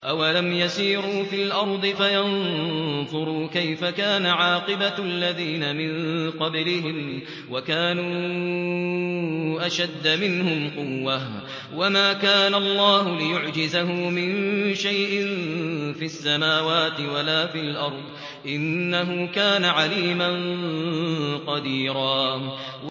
أَوَلَمْ يَسِيرُوا فِي الْأَرْضِ فَيَنظُرُوا كَيْفَ كَانَ عَاقِبَةُ الَّذِينَ مِن قَبْلِهِمْ وَكَانُوا أَشَدَّ مِنْهُمْ قُوَّةً ۚ وَمَا كَانَ اللَّهُ لِيُعْجِزَهُ مِن شَيْءٍ فِي السَّمَاوَاتِ وَلَا فِي الْأَرْضِ ۚ إِنَّهُ كَانَ عَلِيمًا قَدِيرًا